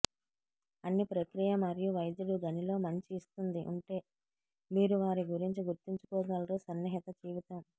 అన్ని ప్రక్రియ మరియు వైద్యుడు గనిలో మంచి ఇస్తుంది ఉంటే మీరు వారి గురించి గుర్తుంచుకోగలరు సన్నిహిత జీవితం